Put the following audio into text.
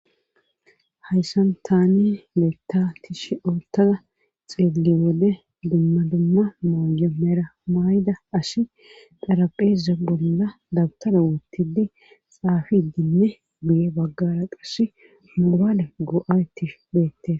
Hayssan taani loyita tishi otada xilliyo wode dumma dumma mayo meera mayida asi xarapheeza bolla dabtara woottidi xaafidinne guye baggara qassi mobale go'aytti beettes.